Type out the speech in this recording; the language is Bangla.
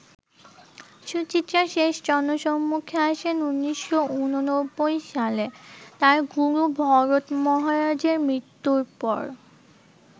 সুচিত্রা শেষ জনসম্মুখে আসেন ১৯৮৯ সালে, তার গুরু ভরত মহারাজের মৃত্যুর পর।